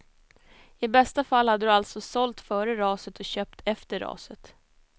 I bästa fall hade du alltså sålt före raset och köpt efter raset.